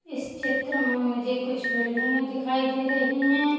इस चित्र में मुझे कुछ बिल्डिंगे दिखाई दे रही हैं ।